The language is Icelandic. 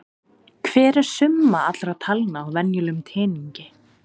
Hver er summa allra talna á venjulegum teningi?